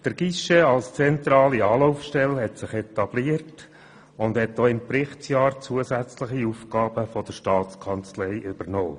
Der «Guichet» als zentrale Anlaufstelle hat sich etabliert und hat auch im Berichtsjahr zusätzliche Aufgaben der Staatskanzlei übernommen.